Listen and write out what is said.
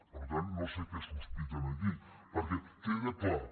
per tant no sé què sospiten aquí perquè queda clar